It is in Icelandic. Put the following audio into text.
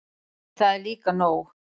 En það er líka nóg.